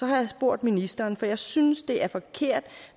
jeg spurgt ministeren for jeg synes det er forkert